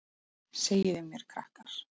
Segiði mér krakkar.